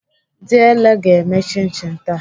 Diele ga-eme chin chin taa.